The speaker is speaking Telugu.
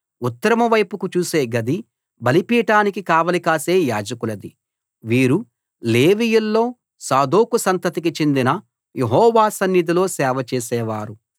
ఉత్తరం వైపుకు చూసే గది బలిపీఠానికి కావలి కాసే యాజకులది వీరు లేవీయుల్లో సాదోకు సంతతికి చెంది యెహోవా సన్నిధిలో సేవ చేసేవారు